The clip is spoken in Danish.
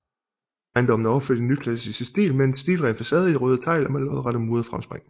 Ejendommen er opført i nyklassicistisk stil med en stilren facade i røde tegl og med lodrette murede fremspring